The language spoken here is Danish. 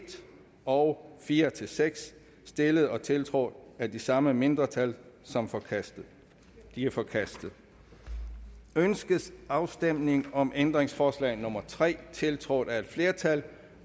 og fire seks stillet og tiltrådt af de samme mindretal som forkastet de er forkastet ønskes afstemning om ændringsforslag nummer tre tiltrådt af et flertal